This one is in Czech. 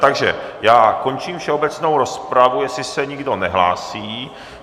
Takže já končím všeobecnou rozpravu, jestli se nikdo nehlásí.